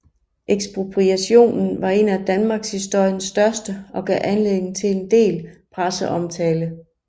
Ekspropriationen var en af danmarkshistoriens største og gav anledning til en del presseomtale